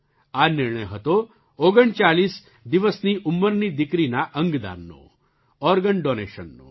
આ નિર્ણય હતો ઓગણચાલીસ 39 દિવસની ઉંમરની દીકરીના અંગદાનનો ઑર્ગન ડૉનેશનનો